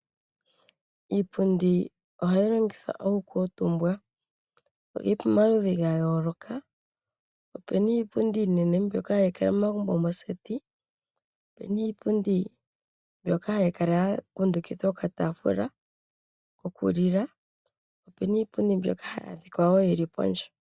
Iipundi ohayi longithwa oku kuutumbwa, oyili pomaludhi gayooloka. Opena iipundi iinene mbyono hayikala momagumbo mookombitha. Opena iipundi mbyoka hayi kala yakundukitha okataafula koku lila, opena iipundi mbyoka hayi adhika woo yili pondje.